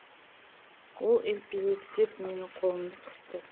ол елпелектеп менің қолымды қысты